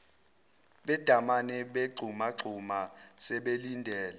bedamane begxumagxuma sebelindele